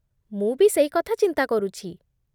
ମୁଁ ବି ସେଇ କଥା ଚିନ୍ତା କରୁଚି ।